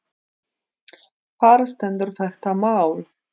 Þar stendur þetta mál.